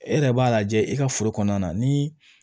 E yɛrɛ b'a lajɛ i ka foro kɔnɔna na ni